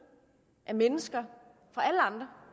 af mennesker fra alle andre